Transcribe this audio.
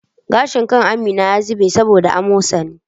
Gashin kan Amin ya zube saboda amosani